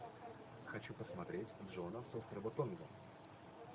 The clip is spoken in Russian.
хочу посмотреть джона с острова тонга